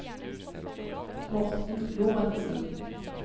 Morten Lorentzen